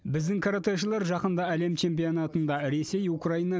біздің каратэшілер жақында әлем чемпионатында ресей украина